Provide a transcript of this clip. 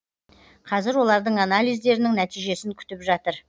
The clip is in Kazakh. қазір олардың анализдерінің нәтижесін күтіп жатыр